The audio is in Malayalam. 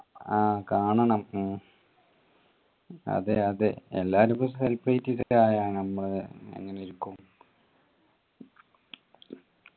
ആഹ് കാണണം ഉം അതെ അതെ എല്ലാരും ഇപ്പൊ ആഹ് അഹ് നമ്മള് എങ്ങനെ ഇരിക്കും